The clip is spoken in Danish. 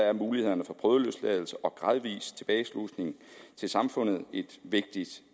er mulighederne for prøveløsladelse og gradvis tilbageslusning til samfundet et vigtigt